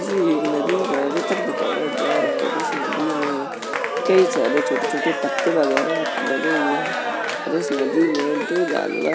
ये एक नदी का चित्र दिखाया जा रहा है इस नदी में कई सारे छोटे-छोटे पत्ते वगैरह डलें हुए है और इस नदी में दो जानवर --